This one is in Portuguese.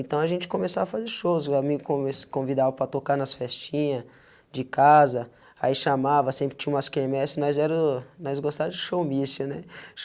Então a gente começou a fazer shows, lá como eles me convidava para tocar nas festinhas, de casa, aí chamava, sempre tinha umas cá eme esse, nós era o nós gostava de showmício.